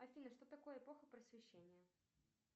афина что такое эпоха просвещения